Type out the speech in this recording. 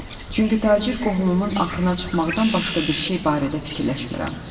Çünki tacir qohumumun axırına çıxmaqdan başqa bir şey barədə fikirləşmirəm.